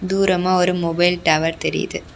தூரமா ஒரு mobile tower தெரியுது.